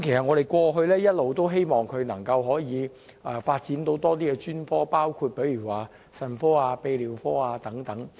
我們過去一直希望北大嶼山醫院能開設多些專科，包括腎科、泌尿科等。